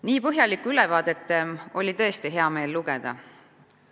Nii põhjalikku ülevaadet oli tõesti hea meel lugeda.